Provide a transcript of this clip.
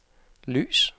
lys